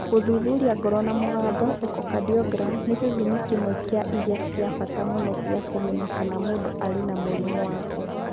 Gũthuthuria ngoro na mũgambo (echocardiogram) nĩ gĩthimi kĩmwe kĩa iria cia bata mũno gĩa kũmenya kana mũndũ arĩ na mũrimũ wa ngoro.